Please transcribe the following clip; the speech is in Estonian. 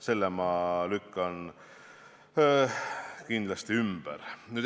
Selle ütluse ma lükkan kindlasti ümber.